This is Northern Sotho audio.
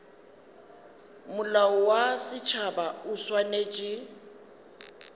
molao wa setšhaba o swanetše